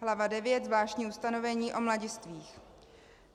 Hlava IX. Zvláštní ustanovení o mladistvých.